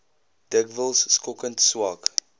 dikwels skokkend swak